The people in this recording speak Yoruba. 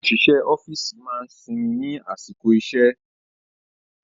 Àwọn òṣìṣẹ́ ọ́fíìsì máa ń sinmi ní àsìkò iṣẹ́